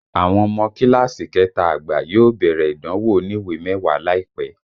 Àwọn ọmọ kíláàsì kẹta àgbà yóò bẹ̀rẹ̀ ìdánwò oniwe mẹ́wàá láìpẹ́